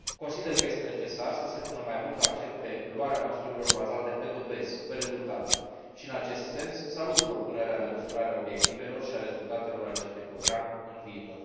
Consider că este necesar să se pună mai mult accent pe luarea măsurilor bazate pe dovezi, pe rezultate și, în acest sens, salut propunerea de măsurare a obiectivelor și a rezultatelor acestui program în viitor.